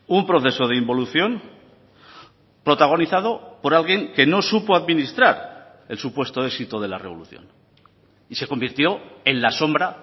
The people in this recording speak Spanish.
un proceso de involución protagonizado por alguien que no supo administrar el supuesto éxito de la revolución y se convirtió en la sombra